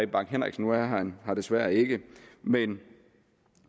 bang henriksen nu er han her desværre ikke men